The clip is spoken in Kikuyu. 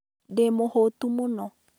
Ndĩ mũhũũtu mũno.